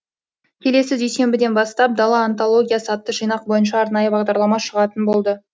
келесі дүйсенбіден бастап дала антологиясы атты жинақ бойынша арнайы бағдарлама шығатын болды